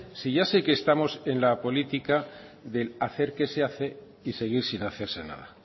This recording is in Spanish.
si ya sé que estamos en la política del hacer que se hace y seguir sin hacerse nada